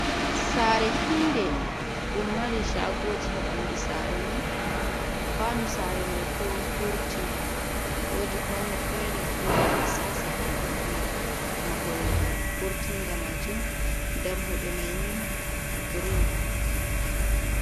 Saare hii'nde ɗum mari shagoji ha ɓandu saare mai, kwano saare mai bo hurti, wodi kwano fere ɗum waɗi tsatsa ha kombi mahol hurtinga majun. Dammuɗe mai ni green un.